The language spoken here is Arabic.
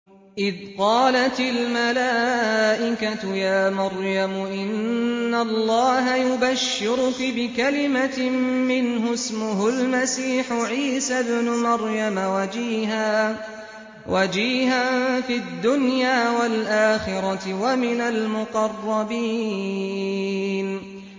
إِذْ قَالَتِ الْمَلَائِكَةُ يَا مَرْيَمُ إِنَّ اللَّهَ يُبَشِّرُكِ بِكَلِمَةٍ مِّنْهُ اسْمُهُ الْمَسِيحُ عِيسَى ابْنُ مَرْيَمَ وَجِيهًا فِي الدُّنْيَا وَالْآخِرَةِ وَمِنَ الْمُقَرَّبِينَ